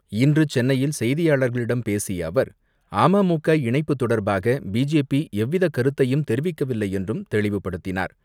இன்று சென்னையில் செய்தியாளர்களிடம் பேசிய அவர், அமமுக இணைப்பு தொடர்பாக, பிஜேபி எவ்வித கருத்தையும் தெரிவிக்கவில்லை என்றும் தெளிவுப்படுத்தினார்.